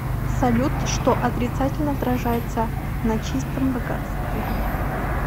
салют что отрицательно отражается на чистом богатстве